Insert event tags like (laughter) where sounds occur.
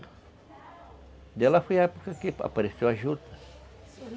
Daí lá foi a época que apareceu a juta (unintelligible)